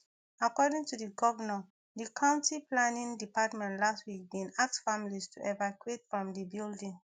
according to di govnor di county planning department last week bin ask families to evacuate from di building